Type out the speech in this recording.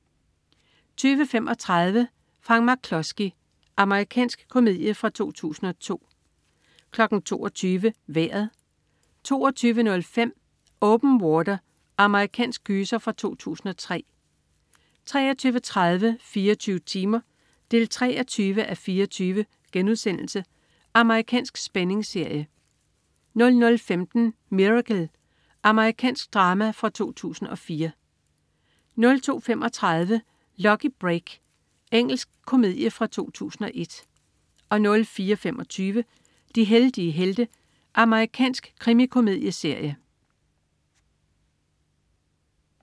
20.35 Frank McKlusky. Amerikansk komedie fra 2002 22.00 Vejret 22.05 Open Water. Amerikansk gyser fra 2003 23.30 24 timer 23:24.* Amerikansk spændingsserie 00.15 Miracle. Amerikansk drama fra 2004 02.35 Lucky Break. Engelsk komedie fra 2001 04.25 De heldige helte. Amerikansk krimikomedieserie